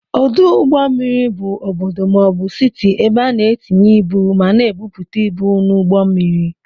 Ọdụ ụgbọ mmiri bụ ọbọdọ maọbu Citi ebe ana etinye ịbụ ma na ebupute ịbụ n'ugbó mmiri.